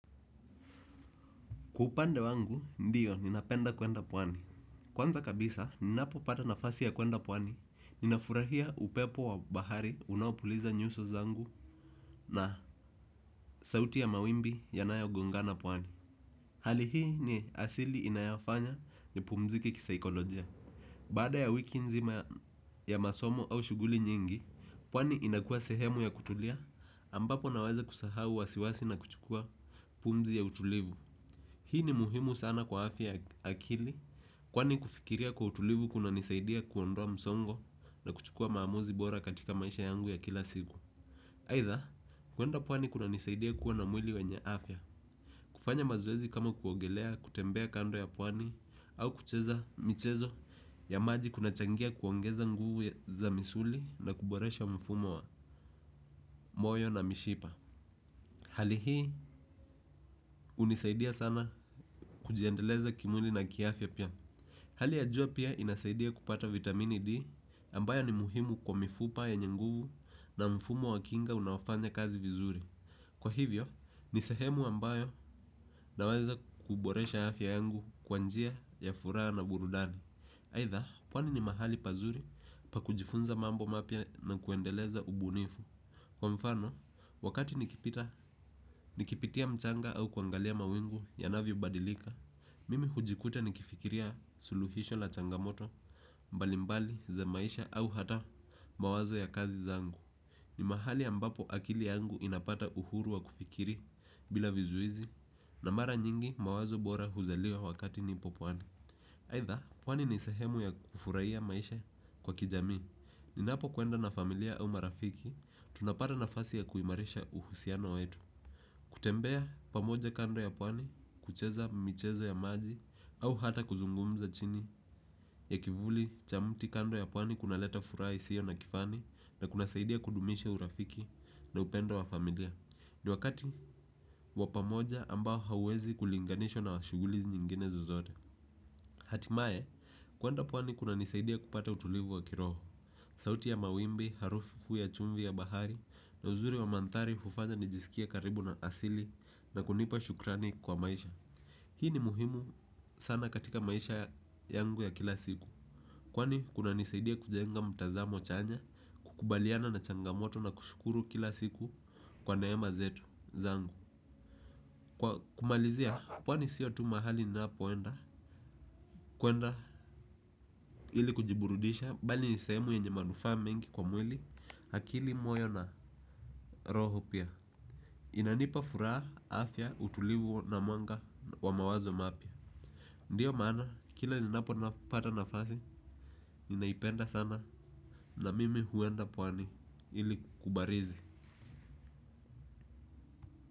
Kwa upande wangu, ndiyo ninapenda kwenda pwani. Kwanza kabisa ninapopata nafasi ya kuenda pwani ninafurahia upepo wa bahari unaopuliza nyuso zangu na sauti ya mawimbi yanayogongana pwani. Hali hii ni asili inayofanya nipumzike kisaikolojia. Baada ya wiki nzima ya masomo au shughuli nyingi, pwani inakua sehemu ya kutulia ambapo naweza kusahau wasiwasi na kuchukua pumzi ya utulivu. Hii ni muhimu sana kwa afya ya akili kwani kufikiria kwa utulivu kunanisaidia kuondroa msongo na kuchukua maamuzi bora katika maisha yangu ya kila siku. Aidha, kuenda pwani kuna nisaidia kuwa na mwili wenye afya. Kufanya mazoezi kama kuogelea, kutembea kando ya pwani au kucheza michezo ya maji kunachangia kuongeza nguvu za misuli na kuboresha mfumo wa moyo na mishipa. Hali hii hunisaidia sana kujiendeleza kimwili na kiafya pia. Hali ya jua pia inasaidia kupata vitamini D ambayo ni muhimu kwa mifupa yenye nguvu na mfumo wa kinga unaofanya kazi vizuri. Kwa hivyo ni sehemu ambayo inaweza kuboresha afya yangu kwa njia ya furaha na burudani aidha pwani ni mahali pazuri pa kujifunza mambo mapya na kuendeleza ubunifu. Kwa mfano, wakati nikipitia mchanga au kuangalia mawingu ya navyobadilika, mimi hujikuta nikifikiria suluhisho la changamoto mbalimbali za maisha au hata mawazo ya kazi zangu. Ni mahali ambapo akili yangu inapata uhuru wa kufikiri bila vizuizi na mara nyingi mawazo bora huzaliwa wakati nipo pwani. Aidha, pwani ni sehemu ya kufurahia maisha kwa kijamii. Ninapo kuenda na familia au marafiki, tunapata nafasi ya kuimarisha uhusiano wetu. Kutembea pamoja kando ya pwani kucheza michezo ya maji au hata kuzungumza chini ya kivuli cha mti kando ya pwani kunaleta furaha isiyo na kifani na kunasaidia kudumisha urafiki na upendo wa familia. Ni wakati wa pamoja ambao hauwezi kulinganishwa na shughuli nyingine zozote. Hatimaye kuenda pwani kunanisaidia kupata utulivu wa kiroho. Sauti ya mawimbi, harufu ya chumvi ya bahari, na uzuri wa mandhari hufanya nijisikie karibu na asili na kunipa shukrani kwa maisha. Hii ni muhimu sana katika maisha yangu ya kila siku. Kwani kunanisaidia kujenga mtazamo chanya, kukubaliana na changamoto na kushukuru kila siku kwa neema zetu zangu. Kumalizia, pwani siyo tu mahali ninapoenda? Kuenda ili kujiburudisha bali ni sehemu nyenye manufaa mingi kwa mwili akili moyo na roho pia inanipa furaha afya utulivu na mwanga wa mawazo mapya. Ndiyo maana kila ninapopata nafasi ninaipenda sana na mimi huenda pwani ili kubarizi.